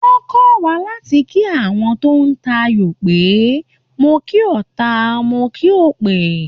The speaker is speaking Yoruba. Wọ́n kọ́ wa láti kí àwọn tó ń tayò pé "mo kí ọta, mo kí òpè".